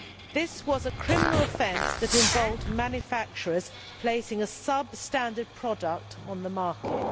This was a criminal offence that involved manufacturers placing a substandard product on the market.